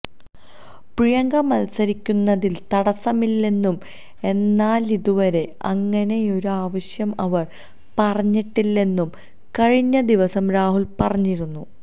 പ്രിയങ്ക മത്സരിക്കുന്നതിൽ തടസ്സമില്ലെന്നും എന്നാലിതുവരെ അങ്ങനെയൊരാവശ്യം അവർ പറഞ്ഞിട്ടില്ലെന്നും കഴിഞ്ഞദിവസം രാഹുൽ പറഞ്ഞിരുന്നു